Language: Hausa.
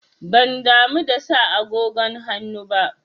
Ban damu da sa agogon hannu ba.